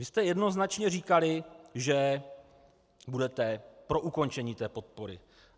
Vy jste jednoznačně říkali, že budete pro ukončení té podpory.